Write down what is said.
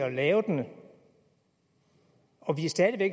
at lave den og